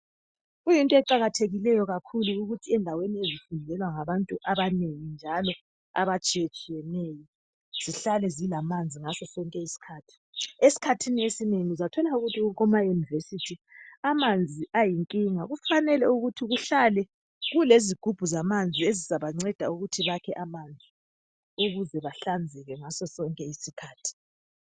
Kuyinto eqakathekileyo kakhulu ukuthi endaweni ezifundelwa ngabatu abanengi njalo abatshiyetshiyeneyo zihlale zilamanzi ngaso sonke isikhathi esikhathini esinengi uzathola ukuthi kumaYunivesithi amanzi ayinkinga kufanele ukuthi kuhlale kulezigibhu zamanzi ezizabanceda ukuthi bakhe amanzi ukuze bahlanzeke ngaso sonke isikhathi